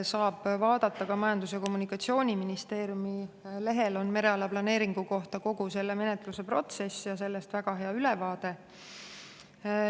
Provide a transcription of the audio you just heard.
Saab vaadata ka Majandus‑ ja Kommunikatsiooniministeeriumi lehele, kus on väga hea ülevaade kogu selle mereala planeeringu menetluse protsessi kohta.